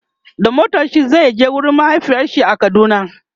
da motarshi Zai je wurin mahaifiyarshi a kaduna